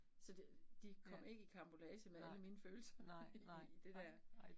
Så det de kom ikke i karambolage med alle mine følelser i i det dér